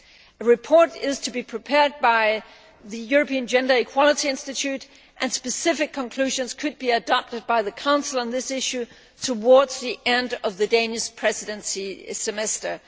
A report is to be prepared by the European Gender Equality Institute and specific conclusions could be adopted by the Council on this issue towards the end of the Danish Presidency semester.